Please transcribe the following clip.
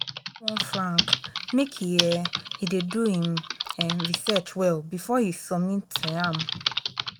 i don warn frank make um he dey do im um research well before he submit um am